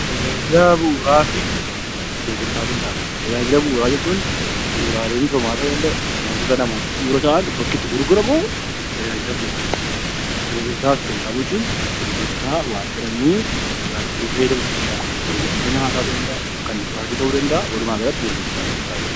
Tajaajila bu'uuraa fi gurgurtaa qinxaaboo Tajaajila bu'uuraa jechuun bu'uuraalee misoomaa ta'uu danda'a; wantoota namaaf bu'uura ta'an bakki itti gurguramu tajaajila bu'uuraati. Gurgurtaa qinxaaboo jechuun gurgurtaa wanta namni irraa bitee fayyadamu ta'uu danda'a, gurgurtaa nyaataa ta'uu danda'a, kan dhugaatii ta'uu danda'a. Walumaagalatti, gurgurtaa qinxaaboo....